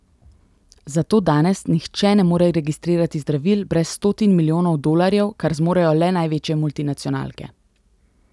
Zato danes nihče ne more registrirati zdravil brez stotin milijonov dolarjev, kar zmorejo le največje multinacionalke.